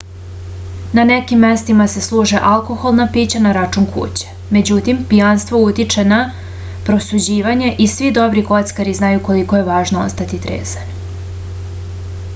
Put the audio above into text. na nekim mestima se služe alkoholna pića na račun kuće međutim pijanstvo utiče na prosuđivanje i svi dobri kockari znaju koliko je važno ostati trezan